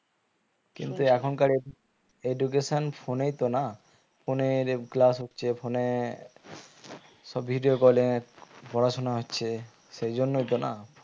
কিন্তু এখনকার education phone এই তো না phone এ class হচ্ছে phone এ সব video call এ পড়াশোনা হচ্ছে সেজন্যই তো না